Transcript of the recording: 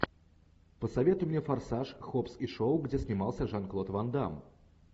посоветуй мне форсаж хоббс и шоу где снимался жан клод ван дамм